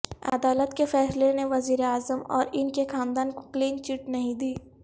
عدالت کے فیصلے نے وزیراعظم اور ان کے خاندان کو کلین چٹ نہیں دی